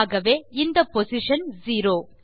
ஆகவே இந்த position zero